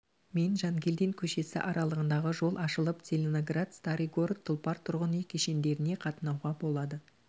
мен жангелдин көшесі аралығындағы жол ашылып целиноград старый город тұлпар тұрғын үй кешендеріне қатынауға болады